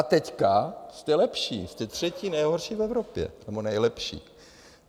A teď jste lepší, jste třetí nejhorší v Evropě, nebo nejlepší.